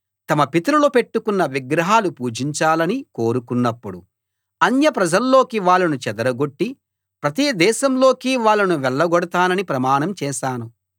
తమ పితరులు పెట్టుకున్న విగ్రహాలు పూజించాలని కోరుకున్నప్పుడు అన్యప్రజల్లోకి వాళ్ళను చెదరగొట్టి ప్రతి దేశంలోకీ వాళ్ళను వెళ్ళగొడతానని ప్రమాణం చేశాను